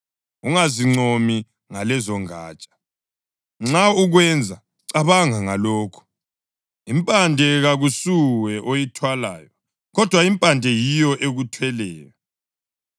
ungazincomi ngalezongatsha. Nxa ukwenza, cabanga ngalokhu: Impande kakusuwe oyithwalayo, kodwa impande yiyo ekuthweleyo.